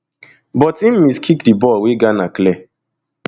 but im miskick di ball wey ghana clear